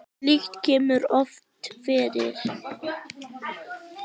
Slíkt kemur líka oft fyrir.